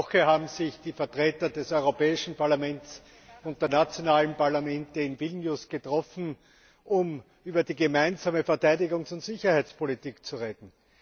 Letzte Woche haben sich die Vertreter des Europäischen Parlaments und der nationalen Parlamente in Vilnius getroffen, um über die gemeinsame Verteidigungs und Sicherheitspolitik zu reden.